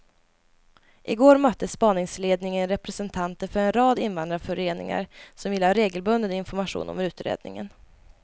I går mötte spaningsledningen representanter för en rad invandrarföreningar som vill ha regelbunden information om utredningen.